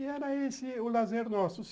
E era esse o lazer nosso.